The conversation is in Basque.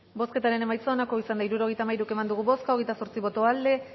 bozketaren emaitza onako izan da hirurogeita hamairu eman dugu bozka hogeita zortzi boto aldekoa